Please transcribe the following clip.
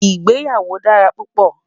ìgbéyàwó dára púpò